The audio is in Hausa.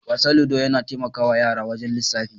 Wasan "ludo" yana taimakawa yara wajen lisafi.